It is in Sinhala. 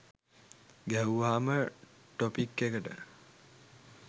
ගැහුවම ටොපික් එකට